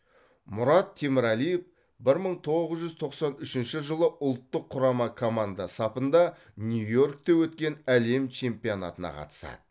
мұрат темірәлиев бір мың тоғыз жүз тоқсан үшінші жылы ұлттық құрама команда сапында нью йоркте өткен әлем чемпионатына қатысады